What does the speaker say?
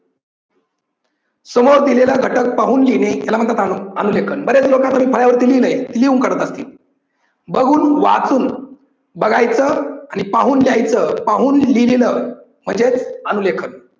समोर दिलेला घटक पाहून लिहिणे याला म्हणतात अनु लेखन. बरेच लोकांनी केली नाही, लिहून करतात ते. बघून वाचून बघायच आणि पाहून लिहायचं पाहून लिहीन म्हणजेच अनु लेखन.